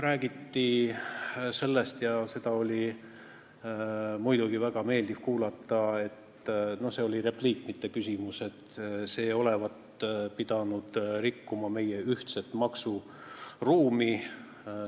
Räägiti sellest, seda oli muidugi väga meeldiv kuulda – see oli repliik, mitte küsimus –, et see eelnõu pidavat rikkuma meie ühtset maksuruumi.